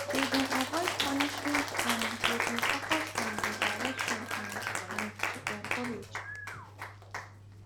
they been avoid punishment and they been focus on redirection and and to encourage